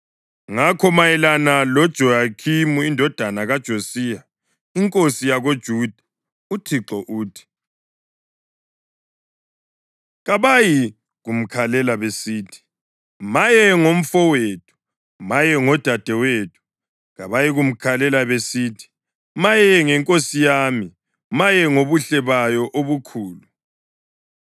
Ngakho mayelana loJehoyakhimi indodana kaJosiya, inkosi yakoJuda, uThixo uthi: “Kabayikumkhalela besithi: ‘Maye ngomfowethu! Maye ngodadewethu!’ Kabayikumkhalela besithi: ‘Maye ngenkosi yami! Maye ngobuhle bayo obukhulu!’